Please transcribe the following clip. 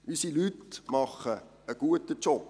Unsere Leute leisten gute Arbeit.